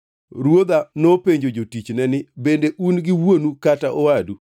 Ruodha nopenjo jotichne ni, ‘Bende un gi wuonu kata owadu?’